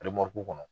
kɔnɔ